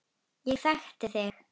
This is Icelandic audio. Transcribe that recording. Ég þekki þig.